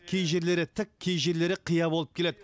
кей жерлері тік кей жерлері қия болып келеді